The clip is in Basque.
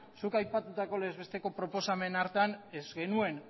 zuk aipatutako legez besteko proposamen hartan ez genuen